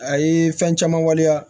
A ye fɛn caman waleya